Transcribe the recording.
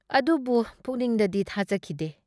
ꯑꯗꯨꯕꯨ ꯄꯨꯛꯅꯤꯡꯗꯗꯤ ꯊꯥꯖꯈꯤꯗꯦ꯫